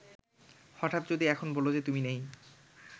হঠাৎ যদি এখন বলো যে তুমি নেই